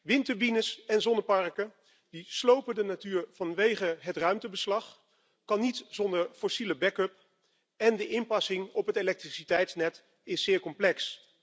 Windturbines en zonneparken slopen de natuur vanwege het ruimtebeslag, kunnen niet zonder fossiele back up en de inpassing op het elektriciteitsnet is zeer complex.